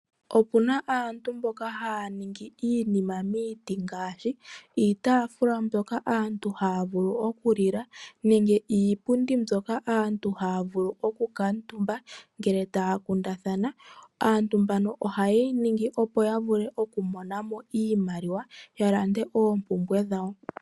Okuna aantu mboka haya ningi iinima miiti ngaashi, iitaafula mbyoka aantu haya vulu oku lila, nenge iipundi mbyoka aantu haya vulu oku kuutumba ngele taya kundathana. Aantu mbaka ohaye yi ningi opo yavule oku monamo iimaliwa yalande oompumbwe dhawo.